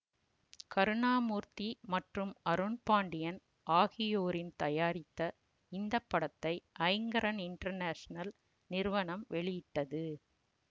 கருணாமூர்த்தி மற்றும் அருண்பாண்டியன் ஆகியோரின் தயாரித்த இந்த படத்தை அய்ங்கரன் இன்டர்னேசனல் நிறுவனம் வெளியிட்டது